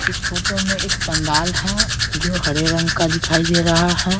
इस फोतो में एक पंडाल है जो हरे रंग का दिखाई दे रहा है।